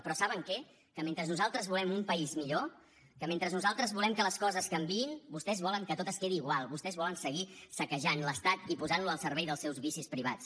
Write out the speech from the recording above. però saben què que mentre nosaltres volem un país millor que mentre nosaltres volem que les coses canviïn vostès volen que tot es quedi igual vostès volen seguir saquejant l’estat i posant lo al servei dels seus vicis privats